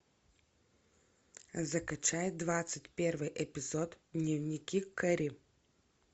закачай двадцать первый эпизод дневники кэрри